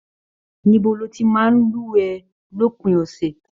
Níbo ló tí màá n luwẹ̀ lópin ọsẹ?